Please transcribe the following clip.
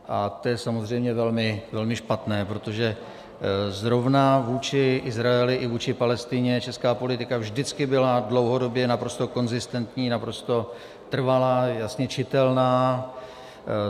A to je samozřejmě velmi špatné, protože zrovna vůči Izraeli i vůči Palestině česká politika vždycky byla dlouhodobě naprosto konzistentní, naprosto trvalá, jasně čitelná.